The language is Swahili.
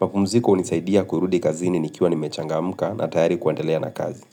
Napumziko hunisaidia kurudi kazini nikiwa ni mechanga mka na tayari kuandelea na kazi.